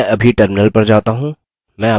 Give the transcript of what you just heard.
मैं अभी terminal पर जाता हूँ